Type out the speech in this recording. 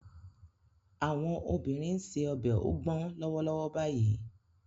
Àwọn obìnrin ń se ọbẹ̀ ogbon lọ́wọ́lọ́wọ́ báyìí